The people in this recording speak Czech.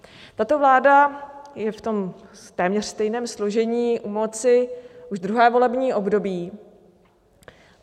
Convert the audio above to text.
Tato vláda je v tom téměř stejném složení u moci už druhé volební období.